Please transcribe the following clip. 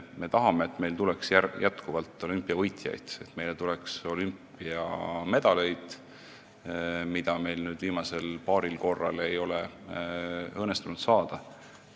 Me tahame, et meile tuleks olümpiavõitjaid, et meile tuleks olümpiamedaleid, mida meil viimasel paaril korral ei ole õnnestunud saada.